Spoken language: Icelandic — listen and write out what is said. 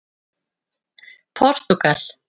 Portúgal